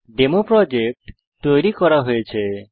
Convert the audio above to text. demo project তৈরি করা হয়েছে